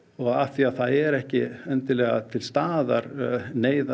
og af því það er ekki endilega til staðar